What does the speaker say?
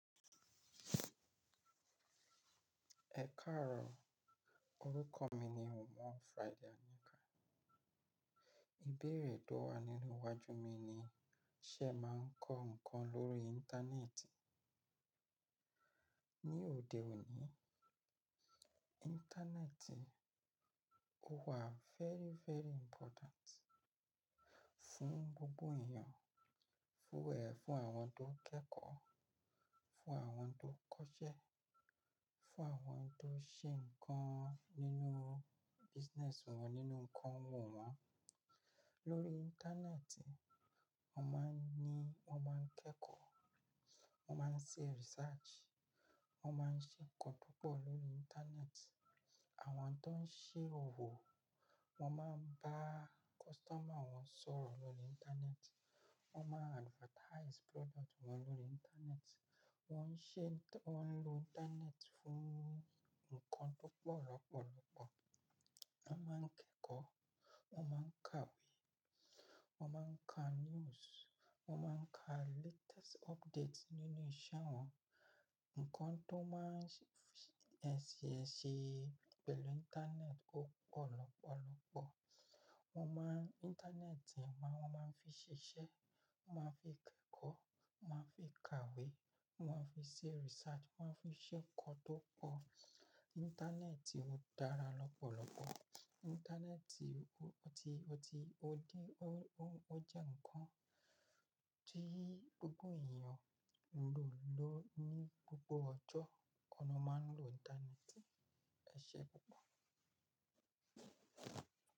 Ẹ káàárọ̀, orúkọ mi ni Wọn Friday Anika. Ìbéèrè tó wà nínú iwájú mi ni ṣẹ màá ń kọ ǹkan lórí Íńtánẹ́ẹ̀tì? Ni òde òní, Íńtánẹ́ẹ̀tì ó wà very, very important fún gbogbo èèyàn, fún, ẹ́, fún àwọn tó ń kẹ́kọ̀ọ́, fún àwọn tó ń kọṣẹ́, fún àwọn tó ń ṣe nnkan nínú business wọn, nínú nnkan òwò wọn. Lórí Íńtánẹ́ẹ̀tì, wọ́n máa ń ní, wọ́n máa ń kẹ́kọ̀ọ́, wọ́n máa ń ṣe research, wọ́n máa ń ṣe ǹkan púpọ̀ lórí Íńtánẹ́ẹ̀tì. Àwọn tó ń ṣe òwò, wọ́n máa ń bá customer wọn sọ̀rọ̀ lórí Íńtánẹ́ẹ̀tì, wọ́n máa ń advertise product wọn lórí Íńtánẹ́ẹ̀tì, wọ́n ń ṣe, wọ́n ń lo Íńtánẹ́ẹ̀tì fún nnkan tó pọ̀ lọ́pọ̀lọpọ̀. Wọ́n máa ń kẹ́kọ̀ọ́, wọ́n máa ń ka ìwé, wọ́n máa ń ka news, wọ́n máa ń ka latest updates nínú ìṣe wọn. Nnkan tó máa ń ṣi, ẹsì ẹsì pẹ̀lú Íńtánẹ́ẹ̀tì ó pọ̀ lọ́pọ̀lọpọ̀. Wọ́n máa ń, Íńtánẹ́ẹ̀tì máa, wọ́n máa ń fi ṣiṣẹ́, wọ́n máa ń fi kẹ́kọ̀ọ́, wọ́n máa ń fi ka ìwé, wọ́n máa ń fi ṣe research, wọ́n máa ń fi ṣe nnkan tó pọ̀. Íńtánẹ́ẹ̀tì ó dára lọ́pọ̀lọpọ̀. Íńtánẹ́ẹ̀tì ó ti, ó ti, ó dí, ó, ó, ó jẹ́ ǹkan tí gbogbo èèyàn ń lò ní gbogbo ọjọ́. Ọna máa ń lo Íńtánẹ́ẹ̀tì. Ẹ ṣé pọ̀pọ̀.